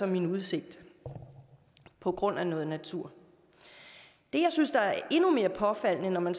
min udsigt på grund af noget natur det jeg synes er endnu mere påfaldende når man